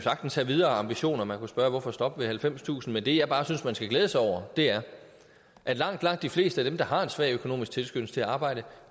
sagtens have videre ambitioner man kunne jo spørge hvorfor stoppe ved halvfemstusind men det jeg bare synes man skal glæde sig over er at langt langt de fleste af dem der har en svag økonomisk tilskyndelse til at arbejde